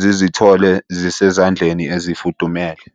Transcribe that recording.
zizithole zisezandleni ezifudumele.